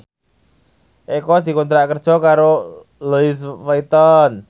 Eko dikontrak kerja karo Louis Vuitton